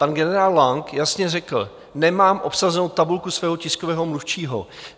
Pan generál Lang jasně řekl: Nemám obsazenou tabulku svého tiskového mluvčího.